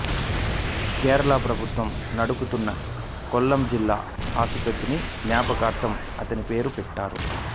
కేరళ ప్రభుత్వం నడుపుతున్న కొల్లం జిల్లా ఆసుపత్రిని జ్ఞాపకార్థం అతని పేరు పెట్టారు